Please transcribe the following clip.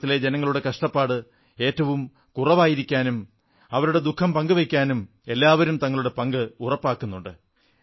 കേരളത്തിലെ ജനങ്ങളുടെ കഷ്ടപ്പാട് ഏറ്റവും ലഘൂകരിക്കാനും അവരുടെ ദുഃഖം പങ്കുവയ്ക്കാനും എല്ലാവരും തങ്ങളുടെ പങ്ക് ഉറപ്പാക്കുന്നുണ്ട്